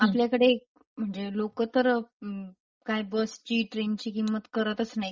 आपल्याकडे म्हणजे लोक तर काय बसची ट्रेन ची किंमत करतच नाहीत.